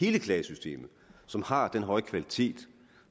klagesystemet som har den høje kvalitet